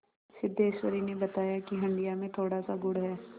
सिद्धेश्वरी ने बताया कि हंडिया में थोड़ासा गुड़ है